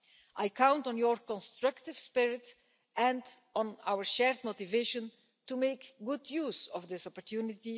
I count on your constructive spirit and on our shared motivation to make good use of this opportunity.